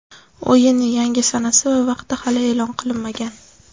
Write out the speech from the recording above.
O‘yinning yangi sanasi va vaqti hali e’lon qilinmagan.